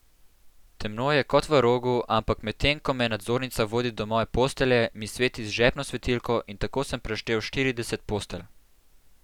Temno je kot v rogu, ampak medtem ko me nadzornica vodi do moje postelje, mi sveti z žepno svetilko, in tako sem preštel štirideset postelj.